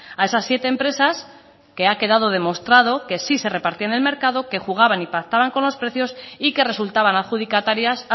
a esas siete empresas que ha quedado demostrado que sí se repartían el mercado que jugaban y pactaban con los precios y que resultaban adjudicatarias